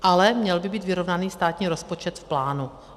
Ale měl by být vyrovnaný státní rozpočet v plánu.